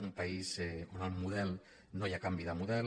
un país on no hi ha canvi de model